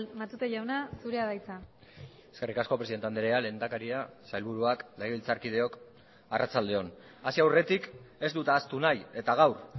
matute jauna zurea da hitza eskerrik asko presidente andrea lehendakaria sailburuak legebiltzarkideok arratsalde on hasi aurretik ez dut ahaztu nahi eta gaur